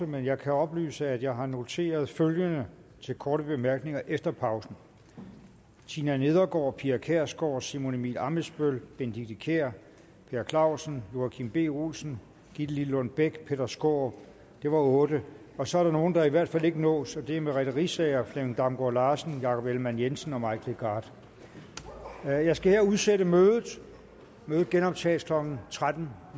men jeg kan oplyse at jeg har noteret følgende til korte bemærkninger efter pausen tina nedergaard pia kjærsgaard simon emil ammitzbøll benedikte kiær per clausen joachim b olsen gitte lillelund bech og peter skaarup det var otte så er der nogle der i hvert fald ikke nås det er merete riisager flemming damgaard larsen jakob ellemann jensen og mike legarth jeg skal her udsætte mødet mødet genoptages klokken tretten